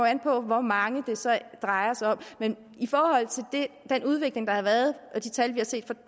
an på hvor mange det så drejer sig om men den udvikling der har været og de tal vi har set